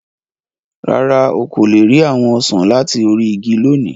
Rárá, o ko le ri awọn osan lati ori igi loni.